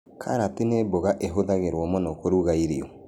Karati nĩ mboga ĩhũthagĩrwo mũno kũruga irio